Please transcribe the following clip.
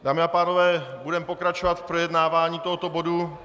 Dámy a pánové, budeme pokračovat v projednávání tohoto bodu.